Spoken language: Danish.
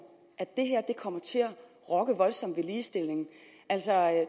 at det her kommer til at rokke voldsomt ved ligestilling